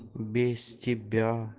без тебя